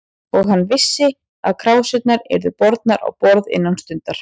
Og hann vissi, að krásirnar yrðu bornar á borð innan stundar.